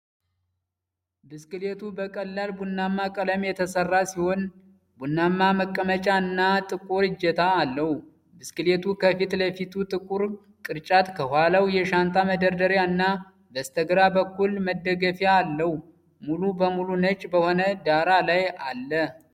ብስክሌቱ በቀላል ቡናማ ቀለም የተሰራ ሲሆን፣ ቡናማ መቀመጫ እና ጥቁር እጀታ አለው። ብስክሌቱ ከፊት ለፊቱ ጥቁር ቅርጫት፣ ከኋላው የሻንጣ መደርደሪያ እና በስተግራ በኩል መደገፊያ አለው። ሙሉ በሙሉ ነጭ በሆነ ዳራ ላይ አለ።